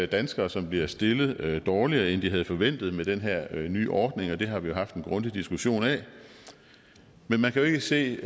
danskere som bliver stillet dårligere end de havde forventet med den her nye ordning og det har vi jo haft en grundig diskussion af men man kan jo ikke se